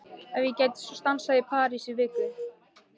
Ef ég gæti svo stansað í París í viku?